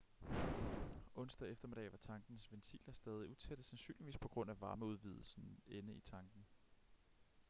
onsdag eftermiddag var tankens ventiler stadig utætte sandsynligvis på grund af varmeudvidelsen inde i tanken